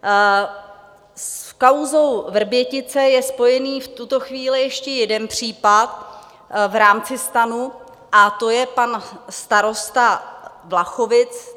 S kauzou Vrbětice je spojený v tuto chvíli ještě jeden případ v rámci STAN, a to je pan starosta Vlachovic.